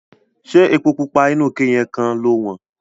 Ṣé epo pupa inú ike yẹn kan lo wọ́n?